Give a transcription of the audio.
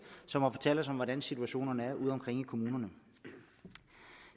som har fortalt os om hvordan situationen er udeomkring i kommunerne